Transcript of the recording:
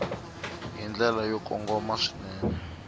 hi ndlela yo kongoma swinene